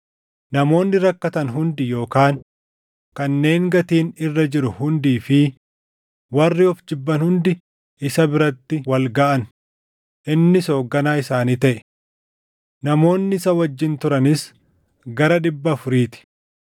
Namoonni rakkatan hundi yookaan kanneen gatiin irra jiru hundii fi warri of jibban hundi isa biratti wal gaʼan; innis hoogganaa isaanii taʼe. Namoonni isa wajjin turanis gara dhibba afurii ti.